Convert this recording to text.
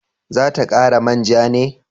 Za ta kara manja ne?